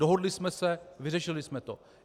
Dohodli jsme se, vyřešili jsme to.